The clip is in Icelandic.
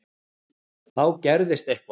Þá gerðist eitthvað.